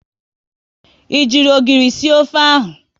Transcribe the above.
Ị ji ogiri sie ofe ahụ?